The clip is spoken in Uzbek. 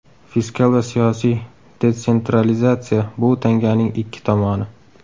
Fiskal va siyosiy detsentralizatsiya bu bir tanganing ikki tomoni.